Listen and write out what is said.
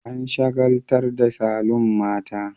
An shagaltar da saloon mata